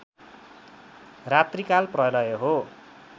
रात्रिकाल प्रलय हो